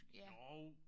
Ja